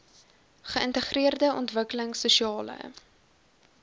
geïntegreerde ontwikkelings sosiale